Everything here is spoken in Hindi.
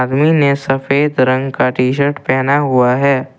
सफेद रंग का टी शर्ट पहना हुआ है।